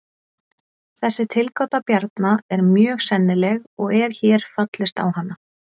Þessi tilgáta Bjarna er mjög sennileg og er hér fallist á hana.